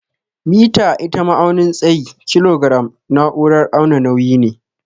Mita ita ma'aunin tsayi, kilogram naúrar auna nauyi ne.